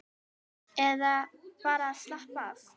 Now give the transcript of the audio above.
Eða bara að slappa af.